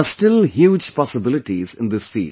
There are still huge possibilities in this field